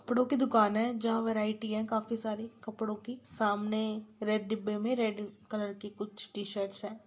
कपड़ो की दुकान है जहाँ वेराइटी है काफी सारे कपड़ो की सामने रेड डिब्बे में कुछ रेड कलर की टी-शर्ट है।